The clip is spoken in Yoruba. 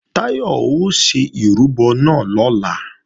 Táyọ̀ ó ṣe ìrúbọ náà lọ́la